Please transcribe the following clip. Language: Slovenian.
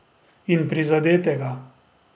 In prizadetega.